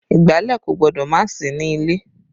Ìgbálẹ̀ kò gbọ́dọ̀ má sí ní ilé